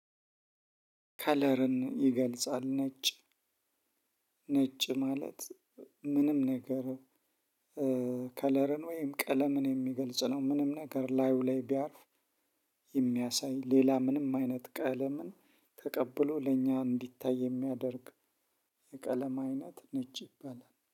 ከለርን ይገልጻል ነጭ ነጭ ማለት ምንም ነገር ከለርን ወይም ቀለምን የሚገልጽ ነው ምንም ነገር ላዩ ላይ ቢያርፍ። የሚያሳይ ሌላ ምንም አይነት ቀለምን ተቀብሎ ለእኛ እንዲታይ የሚያደርግ የቀለም አይነት ነጭ ይባላል